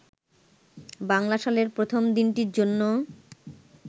বাংলা সালের প্রথম দিনটির জন্য